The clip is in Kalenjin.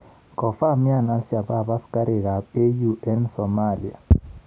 Kofamian Al-Shabab askarik ab AU eng Somalia